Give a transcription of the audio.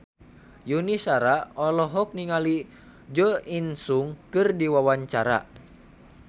Yuni Shara olohok ningali Jo In Sung keur diwawancara